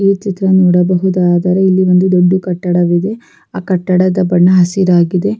ಈ ಚಿತ್ರ ನೋಡಬಹುದಾದರೆ ಇಲ್ಲಿ ಒಂದು ದೊಡ್ಡ ಕಟ್ಟಡವಿದೆ ಅಹ್ಹ ಕಟ್ಟಡದ ಬಣ್ಣ ಹಸಿರಾಗಿದೆ.